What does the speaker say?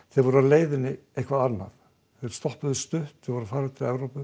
þeir voru á leiðinni eitthvað annað þeir stoppuðu stutt voru að fara til Evrópu